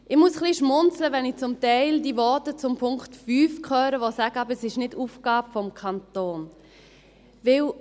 Ich muss etwas schmunzeln, wenn ich zum Teil die Voten zum Punkt 5 höre, die sagen: «Aber es ist nicht Aufgabe des Kantons.»